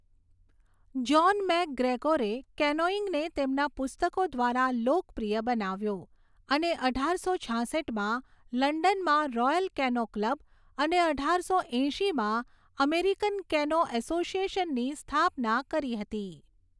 John મૅકગ્રેગોરે કેનોઇંગને તેમના પુસ્તકો દ્વારા લોકપ્રિય બનાવ્યો અને અઢારસો છાસઠમાં લંડનમાં રોયલ કેનો ક્લબ અને અઢારસો એંશીમાં અમેરિકન કેનો અસોસિએશનની સ્થાપના કરી હતી.